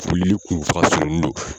Foli de kun don.